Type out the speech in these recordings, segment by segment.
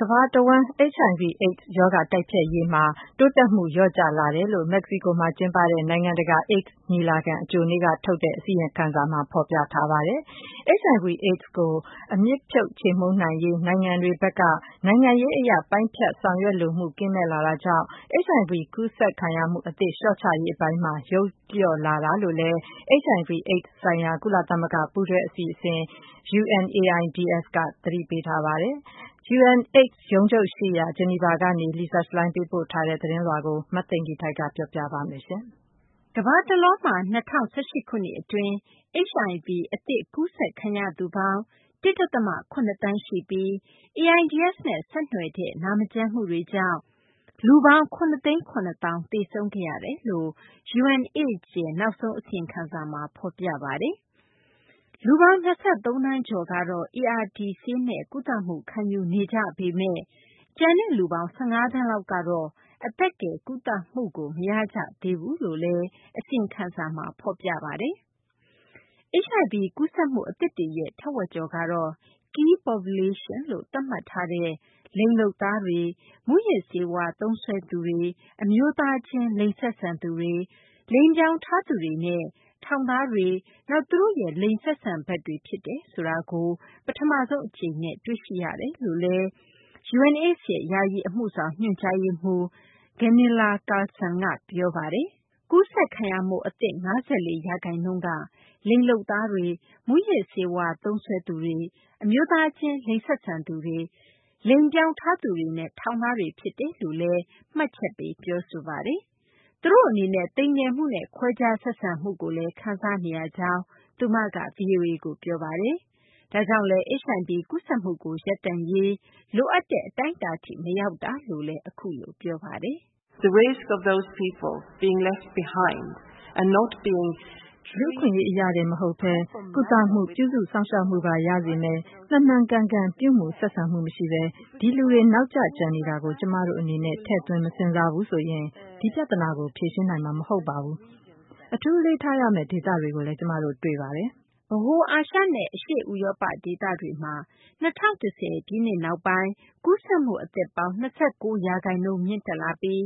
ကမ္ဘာတဝန်း HIV/AIDS ရောဂါ တိုက်ဖျက်ရေးမှာ တိုးတက်မှု လျော့လာတယ်လို့ မက္ကဆီကိုမှာ ကျင်းပတဲ့ နိုင်ငံတကာ AIDS ညီလာခံ အကြိုနေ့က ထုတ်တဲ့ အစီရင်ခံစာမှာတော့ ဖော်ပြထားပါတယ်။ HIV/ AIDS ကို အမြစ်ဖြုတ် ချေမှုန်းနိုင်ရေး အတွက် နိုင်ငံတွေဘက်က နိုင်ငံရေးအရ ပိုင်းဖြတ်ဆောင်ရွက်လိုမှု ကင်းမဲ့လာတာကြောင့် HIV ကူးစက်ခံရမှု အသစ် လျှော့ချရေးပိုင်းမှာ ယုတ်လျော့လာတာလို့လည်း HIV/AIDS ဆိုင်ရာ ကုလသမဂ္ဂ ပူးတွဲ အစီအစဉ် UNAIDS က သတိပေးပါတယ်။ UNAIDS ရုံးချုပ်ရှိရာ Geneva ကနေ Lisa Schlein သတင်းပေးပို့ထားတာကို မသိင်္ဂီထိုက် တင်ပြပေးမှာပါ။ ကမ္ဘာတလွှားမှာ ၂၀၁၈ ခုနှစ် အတွင်း HIV အသစ် ကူးစက်ခံရသူပေါင်း ၁.၇ ရှိပြီး AIDS နဲ့ ဆက်နွယ်တဲ့ နာမကျန်းမှုတွေကြောင့် လူပေါင်း ၇၇၀,၀၀၀ သေဆုံးခဲ့ရတယ်လို့ UNAIDS ရဲ့ နောက်ဆုံး အစီရင်ခံစာမှာ ဖော်ပြပါတယ်။ လူပေါင်း ၂၃ သန်းကျော်ကတော့ ARTဆေးနဲ့ ကုသမှု ခံယူနေကြပေမဲ့ ကျန်တဲ့ လူပေါင်း ၁၅ သန်းလောက်ကတော့ အသက်ကယ် ကုသမှုကို မရကြသေးဘူးလို့လည်း အစီရင်ခံစာမှာ ဖော်ပြပါတယ်။ HIV ကူးစက်မှု အသစ်တွေရဲ့ ထက်ဝက်ကျော်ကတော့ Key Populations လို့ သတ်မှတ်ထားတဲ့ လိင်လုပ်သား၊ မူးယစ်ဆေးဝါးသုံးစွဲသူ၊ အမျိုးသားချင်း လိင်ဆက်ဆံသူ၊ လိင်ပြောင်းထားသူနဲ့ ထောင်သားတွေနဲ့ သူတို့ရဲ့ လိင်ဆက်ဆံဖက်တွေ ဖြစ်တယ်ဆိုတာကို ပထမဆုံး အကြိမ်အနေနဲ့ တွေ့ရှိရတယ်လို့လည်း UNAIDS ရဲ့ ယာယီ အမှုဆောင် ညွှန်ကြားရေးမှူး Gunilla Carlsson က ပြောပါတယ်။ ကူးစက်ခံရမှု အသစ် ၅၄ ရာခိုင်နှုန်းက လိင်လုပ်သားတွေ၊ မူးယစ်ဆေးဝါး သုံးစွဲသူတွေ၊ အမျိုးသားချင်း လိင်ဆက်ဆံသူတွေ၊ လိင်ပြောင်းထားသူတွေနဲ့ ထောင်သားတွေ ဖြစ်တယ်လို့လည်း မှတ်ချက်ပေး ပြောဆိုပါတယ်။ သူတို့ အနေနဲ့ သိမ်ငယ်မှုနဲ့ ခွဲခြားဆက်ဆံမှုကိုလည်း ခံစားနေရကြောင်း သူမက ဗွီအိုအေကို ပြောပါတယ်။ ဒါကြောင့်လည်း HIV ကူးစက်မှုကို ရပ်တန့်ရေး လိုအပ်တဲ့ အတိုင်းအတာထိ မရောက်တာလို့လည်း ပြောပါတယ်။ "လူ့အခွင့်အရေး အရတင် မဟုတ်ဘဲ ကုသမှု၊ ပြုစုစောင့်ရှောက်မှုပါ ရစေမယ့် မှန်မှန်ကန်ကန် ပြုမူဆက်ဆံမှု မရှိဘဲ ဒီလူတွေ နောက်ကျ ကျန်နေတာကို ကျမတို့ အနေနဲ့ ထည့်သွင်း မစဉ်းစားဘူးဆိုရင် ဒီပြဿနာကို ဖြေရှင်းနိုင်မှာ မဟုတ်ပါဘူး။ အထူး အလေးထားရမယ့် ဒေသတွေကိုလည်း ကျမတို့ တွေ့ပါတယ်။" ဗဟို အာရှနဲ့ အရှေ့ ဥရောပ ဒေသတွေမှာ ၂၀၁၀ ပြည့်နှစ်နောက်ပိုင်း ကူးစက်မှု အသစ်ပေါင်း ၂၉ ရာခိုင်နှုန်း မြင့်တက်လာပြီး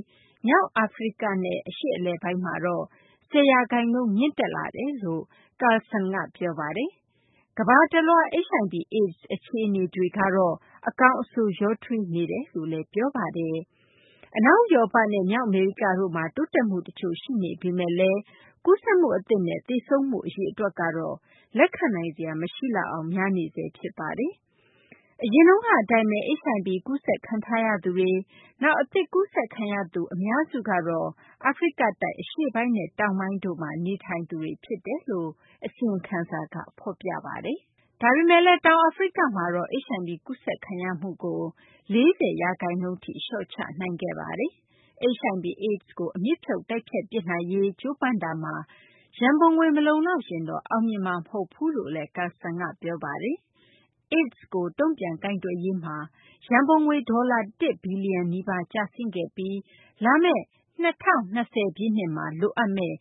မြောက် အာဖရိကနဲ့ အရှေ့အလယ်ပိုင်းမှာတော့ ၁၀ ရာခိုင်နှုန်း မြင့်တက်လာတယ်လို့ Carlsson က ပြောပါတယ်။ ကမ္ဘာတလွှား HIV/AIDS အခြေအနေတွေကတော့ အကောင်းအဆိုး ရောထွေးနေတယ်လို့လည်း ပြောပါတယ်။ အနောက် ဥရောပနဲ့ မြောက် အမေရိကတို့မှာ တိုးတက်မှု တချို့ရှိနေပေမဲ့လည်း ကူးစက်မှု အသစ်နဲ့ သေဆုံးမှု အရေအတွက်တော့ လက်ခံနိုင်စရာ မရှိလောက်အောင် များနေဆဲ ဖြစ်ပါတယ်။ အရင်တုန်းက အတိုင်းပဲ HIV ကူးစက်ခံထားရသူတွေ၊ နောက် အသစ် ကူးစက်ခံရသူတွေ အများစုကတော့ အာဖရိကတိုက် အရှေ့ပိုင်းနဲ့ တောင်ပိုင်းတို့မှာ နေထိုင်နေကြသူတွေ ဖြစ်တယ်လို့ အစီရင်ခံစာက ဖော်ပြပါတယ်။ ဒါပေမဲ့လည်း တောင်အာဖရိကမှာတော့ HIV ကူးစက်ခံရမှုကို ၄၀ ရာခိုင်နှုန်းထိ လျှော့ချနိုင်ခဲ့ပါတယ်။ HIV / AIDS ကို အမြစ်ဖြုတ် တိုက်ဖျက် ပစ်နိုင်ရေး ကြိုးပမ်းတာမှာ ရံပုံငွေ မလုံလောက်ရင်တော့ အောင်မြင်မှာ မဟုတ်ဘူးလို့လည်း Carlsson က ပြောပါတယ်။ AIDS ကို တုံ့ပြန်ကိုင်တွယ်ရေးမှာ ရံပုံငွေ ဒေါ်လာ ၁ ဘီလျံနီးပါး ကျဆင်းခဲ့ပြီး လာမယ့် ၂၀၂၀ ပြည့်နှစ်မှာ လိုအပ်မယ့်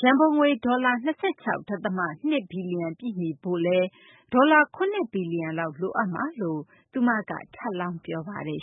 ရန်ပုံငွေ ဒေါ်လာ ၂၆.၂ ဘီလျံကို ပြည့်မီဖို့ ဒေါ်လာ ၇ ဘီလျံလောက် လိုအပ်မှာ ဖြစ်တယ်လို့လည်း သူမက ထပ်လောင်း ပြောပါတယ်